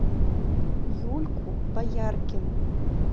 юльку бояркину